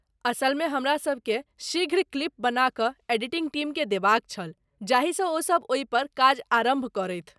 असलमे हमरासभ केँ शीघ्र क्लिप बना कऽ एडिटिंग टीमकेँ देबाक छल जाहिसँ ओ सभ ओहिपर काज आरम्भ करथि।